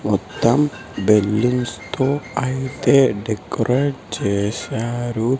మొత్తం బెలూన్స్ తో అయితే డెకరేట్ చేశారు.